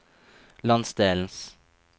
landsdelens